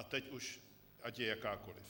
A teď už ať je jakákoliv.